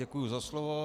Děkuji za slovo.